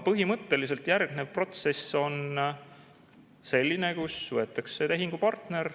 Põhimõtteliselt järgnev protsess on selline, kus võetakse tehingupartner,